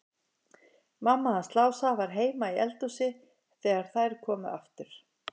Mamma hans Lása var heima í eldhúsi þegar þær komu aftur.